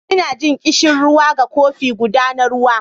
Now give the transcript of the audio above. Ina jin ƙishirwa ga kofi guda na ruwa